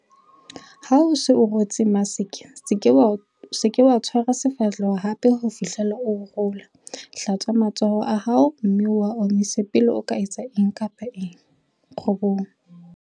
Ha o se o rwetse maske, SE KA ITSHWARA SEFAHLEHO hape ho fihlela o rola. Hlatswa matsoho a hao mme o a omise pele o etsa eng kapa eng. 9.